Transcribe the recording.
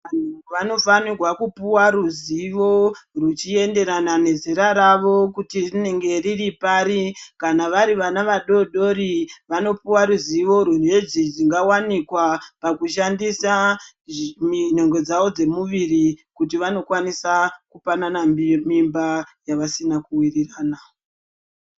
Vanofanirwa kupuwa ruzivo ruchiyenderana nezera ravo, kuti rinenge riripari. Kana varivana vadodori, vanopuwa ruzivo runedzingawanika pakushandisa nhengo dzavo dzemuviri kuti vanokwanisa kupanana mimba nevasina kuwirirana.